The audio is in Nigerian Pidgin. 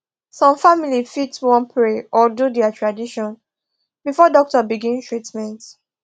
some families fit wan pray or do dia tradition before doctor begin treatment